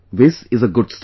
This is a good start